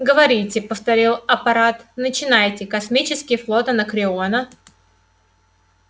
говорите повторил апорат начинайте космический флот анакреона